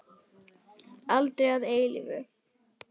Aldrei að eilífu.